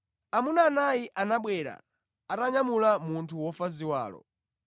Amuna anayi anabwera, atanyamula munthu wofa ziwalo.